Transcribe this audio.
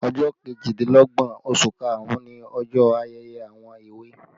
Ọjọ́ kejìdínlọ́gbọ̀n oṣù karùn-ún ni ọjọ ayẹyẹ àwọn èwe